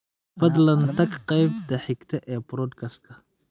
fadlan tag qaybta xigta ee podcast-ka